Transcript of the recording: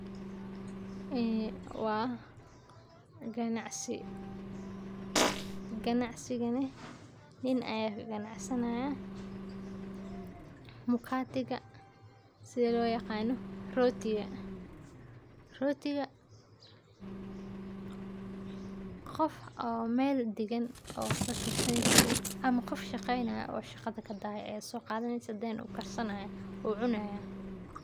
Eee wa ganacsi, ganacsinaga neh nin ayaa kaganacsanayaa mkatiga sidha loyaqano rotiga, rotiga qof oo mel dagan oo waxba karsani karin ama qof shaqeynayo oo shaqada kadahe ayaa soqadaneysaah then u karsanayaa uu cunayaa.